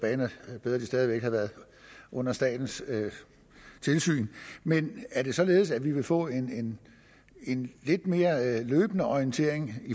bedre hvis de stadig væk havde været under statens tilsyn men er det således at vi vil få en en lidt mere løbende orientering